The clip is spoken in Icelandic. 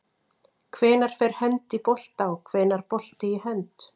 Hvenær fer hönd í bolta og hvenær bolti í hönd?